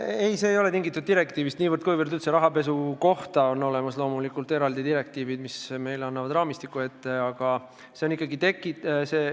Ei, see ei ole tingitud konkreetsest direktiivist, aga üldse rahapesu kohta on loomulikult olemas eraldi direktiivid, mis annavad meile raamistiku ette.